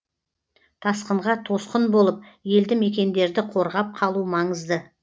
тасқынға тосқын болып елді мекендерді қорғап қалу маңызды